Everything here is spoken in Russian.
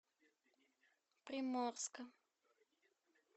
приморска